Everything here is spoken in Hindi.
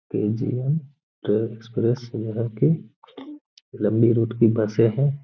केजीएम लम्बी रुट की बसे हैं।